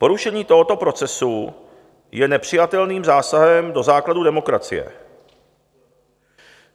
Porušení tohoto procesu je nepřijatelným zásahem do základů demokracie.